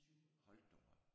Hold dog op